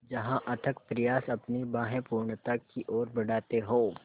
जहाँ अथक प्रयास अपनी बाहें पूर्णता की ओर बढातें हो